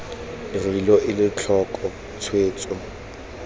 re lo ele tlhoko tshwetso